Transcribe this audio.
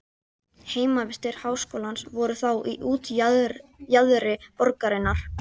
Heimavistir háskólans voru þá í útjaðri borgarinnar.